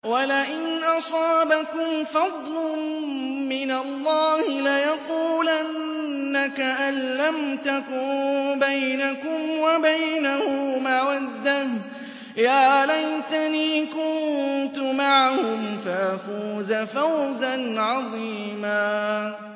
وَلَئِنْ أَصَابَكُمْ فَضْلٌ مِّنَ اللَّهِ لَيَقُولَنَّ كَأَن لَّمْ تَكُن بَيْنَكُمْ وَبَيْنَهُ مَوَدَّةٌ يَا لَيْتَنِي كُنتُ مَعَهُمْ فَأَفُوزَ فَوْزًا عَظِيمًا